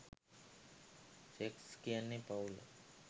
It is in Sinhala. සෙක්ස් කියන්නේ පවුල..